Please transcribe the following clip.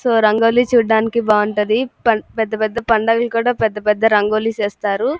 So rangoli చూడటానికి చాలా బాగుంటాది పెద్ద పెద్ద పండగలకి కూడా పెద్ద పెద్ద రంగోలి చేస్తారు.